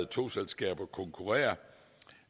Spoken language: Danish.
togselskaber konkurrere